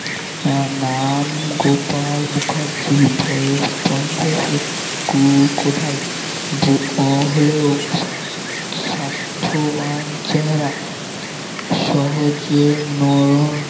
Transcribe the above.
আহ নাম গোপাল মুখার্জী বয়স পঞ্চাশে কো~ কোথায় বো হলেও স্বাস্থ্যবান চেহারা সহজে নরম